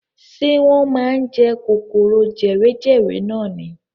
Ṣé wọ́n máa ń jẹ kòkòrò jewejewe nani.